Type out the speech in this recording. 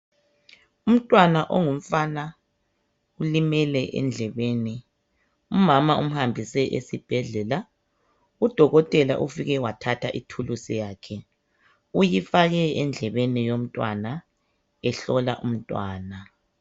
Umntwana ongumfana ulimele endlebeni. Umama umhambise esibhedlela. Udokotela ufike wathatha ithulusi yakhe. Uyifake endlebeni yomntwana, ehlola umntwana.